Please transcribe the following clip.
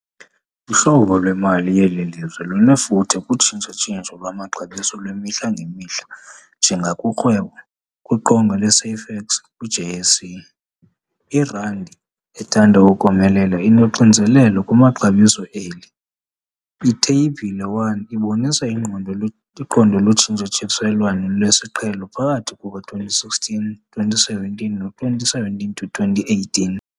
Uhlobo lwemali yeli lizwe lunefuthe kutshintsha-tshintsho lwamaxabiso lwemihla-ngemihla njengakurhwebo kwiqonga leSafex kwiJSE. Irandi ethande ukomelela inoxinzelelo kumaxabiso eli. Itheyibhile 1 ibonisa ingqondo iqondo lotshintshiselwano lesiqhelo phakathi kuka-2016-2017 no-2017 to 2018.